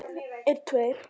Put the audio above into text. Hvaða raus er þetta?